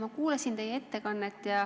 Ma kuulasin teie ettekannet.